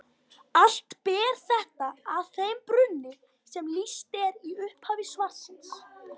Allt ber þetta að þeim brunni sem lýst er í upphafi svarsins.